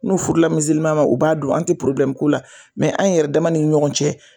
N'u furula ma u b'a don, an ti k'o la an yɛrɛ dama ni ɲɔgɔn cɛ